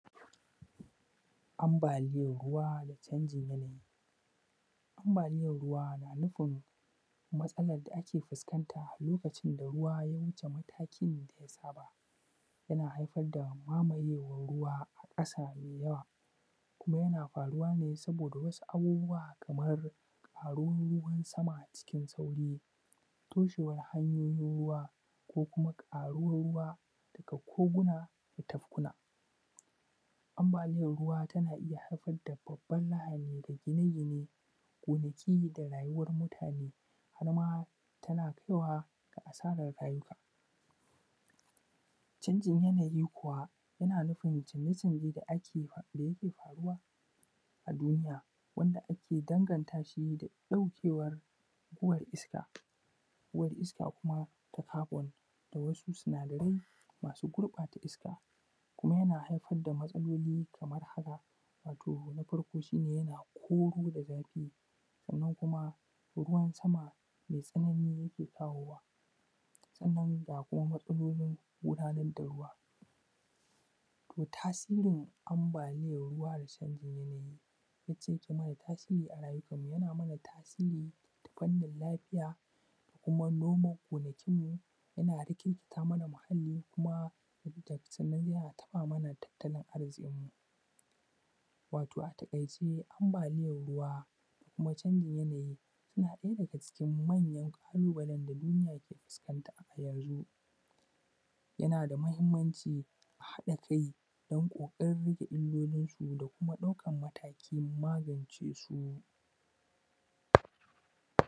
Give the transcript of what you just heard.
Ambaaliyar ruwa da canjin yanayi ambaliyar ruwa na nufin matsalan da ake fuskanta lokacin da ruwa ya wuce matakin da ya saba yana haifar da mamayewar ruwa a ƙasa mai yawa kuma yana faruwa ne saboda wasu abubuwa kamar ƙaruwar ruwan sama a cikin sauri. Toshenwan hanyoyin ruwa ko kuma ƙaruwan ruwa a koguna da tafkuna, ambaliyar ruwa na iya haifar da babban lahani da gine-gine, gonaki da ma rayukar mutane har ma tana kaiwa ga asarar rayuka, canjin yanayi kuwa yana nufin canje-canjen da yake faruwa a duniya wanda ake danganta shi da ɗaukewar uwar iska. Uwar iska kuma ta kabon da wasu sinadarai masu gurɓata iska kuma yana haifar da mataloli kamar haka: wato na farko shi ne yana koro da zafi, sannan kuma ruwan sama mai tsanani yake kawowa, sannan kuma ga matsalolin gudanar da ruwa. Tasirin ambaliyan ruwa da canjin yanayi yacca aike mana tasiri a rayukanmu, yana mana tasiri ta fannin lafiya da kuma noma gonakinmu, yana rikirkita amna muhalli kuma, yana taɓa mana tattalin arzikinmu wato a taƙaice, ambaliyan ruwa da kuma canjin yanayi suna ɗaya daga cikin manyan ƙalubalen da duniya ke fuskanta a yanzun yana da mahimmanci a haɗa kai dan ƙoƙarin rage illolinsu da kuma ɗaukan mataki dan magance su.